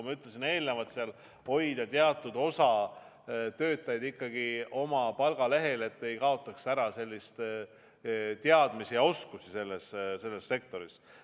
Püütakse hoida teatud osa töötajaid ikkagi oma palgalehel, et ei kaotataks ära teadmisi ja oskusi selles sektoris.